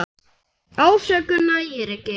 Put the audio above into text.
Ásökun nægir ekki.